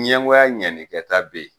Ɲɛngoya ɲɛnikɛta be ye